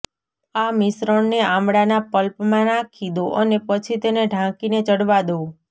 આ મિશ્રણને આમળાના પલ્પમાં નાંખી દો અને પછી તેને ઢાંકીને ચડવા દો